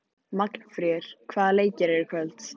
Magnfríður, hvaða leikir eru í kvöld?